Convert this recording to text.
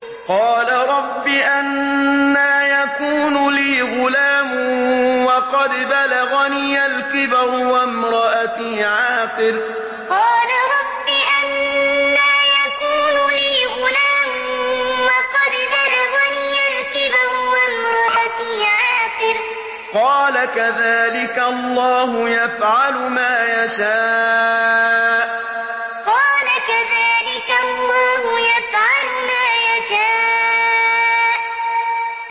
قَالَ رَبِّ أَنَّىٰ يَكُونُ لِي غُلَامٌ وَقَدْ بَلَغَنِيَ الْكِبَرُ وَامْرَأَتِي عَاقِرٌ ۖ قَالَ كَذَٰلِكَ اللَّهُ يَفْعَلُ مَا يَشَاءُ قَالَ رَبِّ أَنَّىٰ يَكُونُ لِي غُلَامٌ وَقَدْ بَلَغَنِيَ الْكِبَرُ وَامْرَأَتِي عَاقِرٌ ۖ قَالَ كَذَٰلِكَ اللَّهُ يَفْعَلُ مَا يَشَاءُ